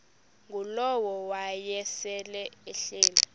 ngulowo wayesel ehleli